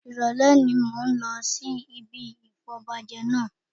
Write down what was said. Ìrọ̀lẹ́ ni mò ń lọ sí ibi ìfọbajẹ náà